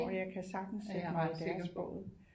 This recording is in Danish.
Det er jeg ret sikker på